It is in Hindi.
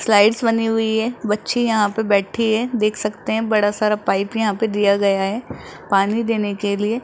स्लाइड्स बनी हुई है बच्ची यहां पे बैठे हैं देख सकते हैं बड़ा सारा पाइप यहां पे दिया गया है पानी देने के लिए--